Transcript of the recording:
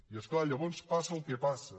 i és clar llavors passa el que passa